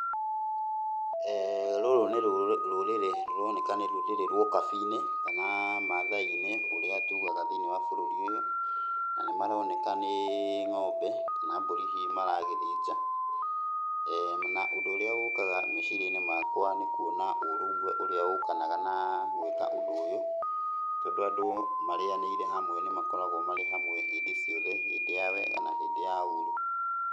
Rũrũ nĩ rũrĩrĩ rũroneka nĩ rũrĩrĩ rwa ũkabi-inĩ, kana Maathai-inĩ ũrĩa tugaga thĩiniĩ wa bũrũri ũyũ, na nĩmaroneka nĩ ng'ombe kana mbũri hihi maragĩthĩnja, na ũndũ ũrĩa ũkaga meciria-inĩ makwa nĩ kuona ũrũmwe ũrĩa ũkanaga na gwĩka ũndũ ũyũ. Tondũ andũ marĩanĩire hamwe nĩmakoragwo marĩ hamwe hĩndĩ ciothe, hĩndĩ wa wega na hĩndĩ ya ũru.